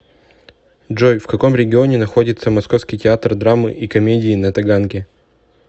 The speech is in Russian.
джой в каком регионе находится московский театр драмы и комедии на таганке